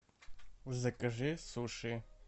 закажи суши